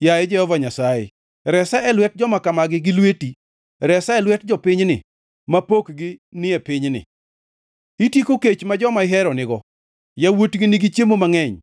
Yaye Jehova Nyasaye, resa e lwet joma kamago gi lweti, resa e lwet jopinyni ma pokgi ni e pinyni. Itieko kech ma joma ihero nigo; yawuotgi nigi chiemo mangʼeny,